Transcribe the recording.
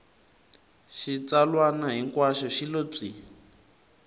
xitsalwana hinkwaxo xi lo pyi